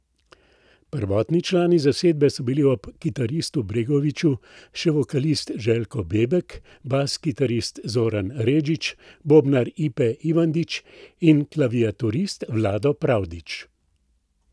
Prvotni člani zasedbe so bili ob kitaristu Bregoviću še vokalist Željko Bebek, bas kitarist Zoran Redžić, bobnar Ipe Ivandić in klaviaturist Vlado Pravdić.